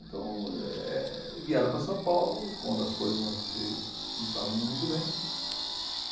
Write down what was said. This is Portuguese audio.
Então eh vieram para São Paulo quando as coisas não se não estavam indo muito bem.